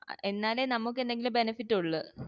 എന്നാലേ നമ്മക്ക് എന്തെങ്കിലും benefit ഉള്ളു